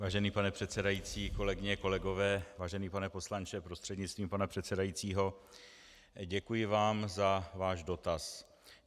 Vážený pane předsedající, kolegyně, kolegové, vážený pane poslanče prostřednictvím pana předsedajícího, děkuji vám za váš dotaz.